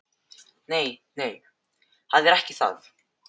Nei, nei, það er ekki það.